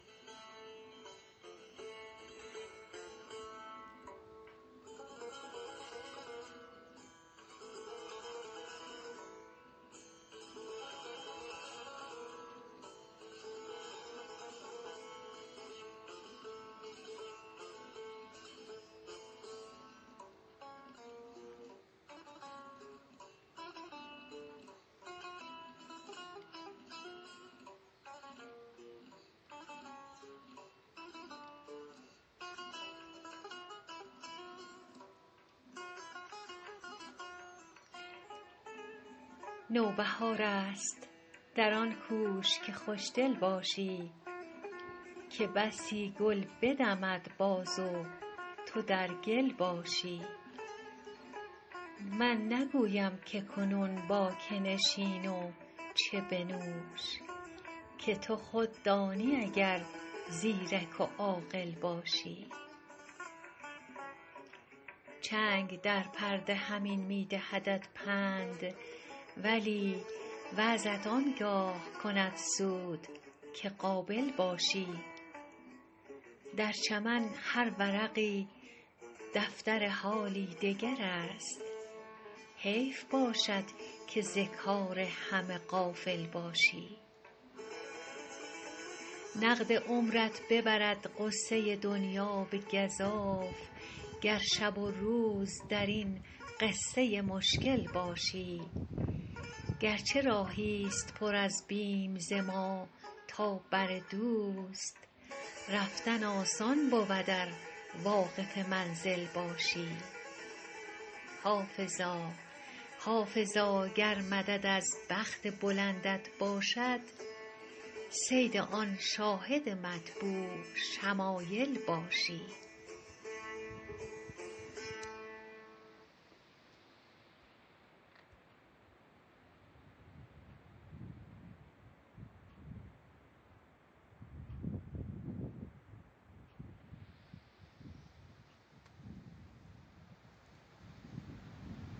نوبهار است در آن کوش که خوش دل باشی که بسی گل بدمد باز و تو در گل باشی من نگویم که کنون با که نشین و چه بنوش که تو خود دانی اگر زیرک و عاقل باشی چنگ در پرده همین می دهدت پند ولی وعظت آن گاه کند سود که قابل باشی در چمن هر ورقی دفتر حالی دگر است حیف باشد که ز کار همه غافل باشی نقد عمرت ببرد غصه دنیا به گزاف گر شب و روز در این قصه مشکل باشی گر چه راهی ست پر از بیم ز ما تا بر دوست رفتن آسان بود ار واقف منزل باشی حافظا گر مدد از بخت بلندت باشد صید آن شاهد مطبوع شمایل باشی